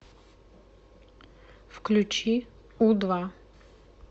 включи у два